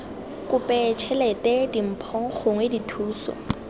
kope tšhelete dimpho gongwe dithuso